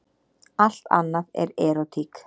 Allt annað er erótík.